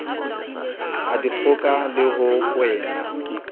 a dikgoka le ho kwena